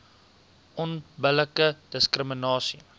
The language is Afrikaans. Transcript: onbillike diskrimina sie